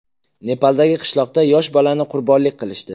Nepaldagi qishloqda yosh bolani qurbonlik qilishdi.